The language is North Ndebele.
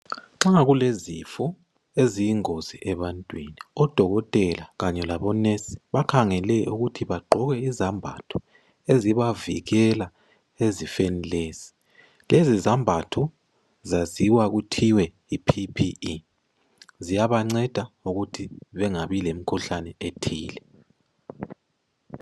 Nxa kulezifo eziyingozi ebantwini odokotela Kanye labonesi bakhangelwe ukuthi bagqoke izembatho ezibavikela ezifweni lezi lezi zembatho zaziwe kuthiweyi PPE ziyabanceda ngokuthi bengabi lemikhuhlane ethile